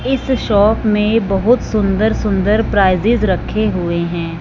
इस शॉप में बहुत सुंदर सुंदर प्राइजेस रखे हुए हैं।